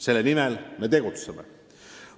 Selle nimel me tegutseme.